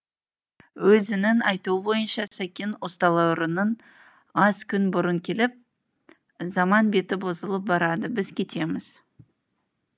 өзінің айтуы бойынша сәкен ұсталарынан аз күн бұрын келіп заман беті бұзылып барады біз кетеміз